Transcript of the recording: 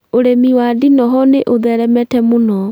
Ũrĩmi wa ndinoho nĩ ũtheremete mũno